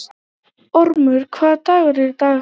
Ormur, hvaða dagur er í dag?